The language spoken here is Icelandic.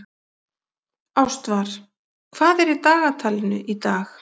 Ástvar, hvað er í dagatalinu í dag?